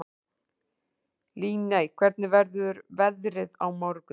Líney, hvernig verður veðrið á morgun?